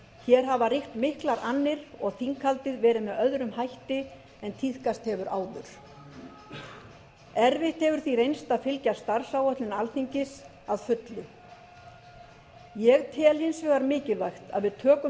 hér hafa ríkt miklar annir og þinghaldið verið með öðrum hætti en tíðkast hefur áður erfitt hefur því reynst að fylgja starfsáætlun alþingis að fullu ég tel hins vegar mikilvægt að við tökum